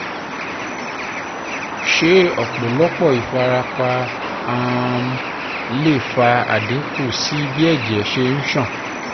se opolopo ifarapa um le fa adinku si bi eje se n san?